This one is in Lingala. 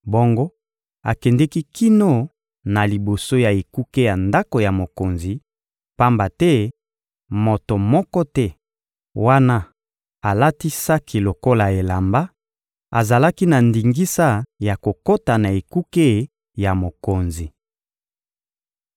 Bongo akendeki kino na liboso ya ekuke ya ndako ya mokonzi; pamba te moto moko te, wana alati saki lokola elamba, azalaki na ndingisa ya kokota na ekuke ya mokonzi.